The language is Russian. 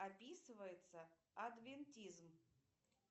описывается адвентизм